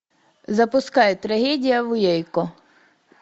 запускай трагедия в уэйко